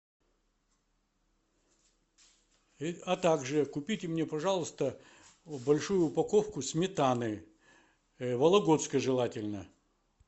а также купите мне пожалуйста большую упаковку сметаны вологодской желательно